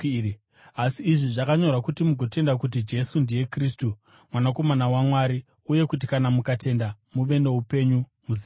Asi izvi zvakanyorwa kuti mugotenda kuti Jesu ndiye Kristu, Mwanakomana waMwari, uye kuti kana mukatenda muve noupenyu muzita rake.